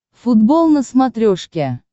футбол на смотрешке